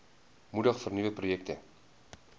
moedig vernuwende projekte